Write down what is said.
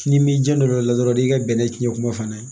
N'i m'i janto o la dɔrɔn n'i ka bɛnɛ tiɲɛ kuma fana